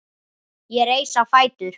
Ég reis á fætur.